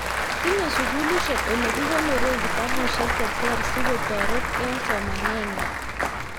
Tinyei sikulishek olekikonoree kitabusiek che ter sikotorit eng somanet ng'wae